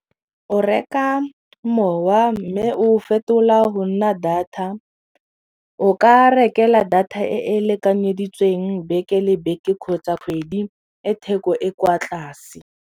O reka mowa mme o fetola go nna data o ka rekela data e e lekanyeditsweng beke le beke kgotsa kgwedi e theko e kwa tlase.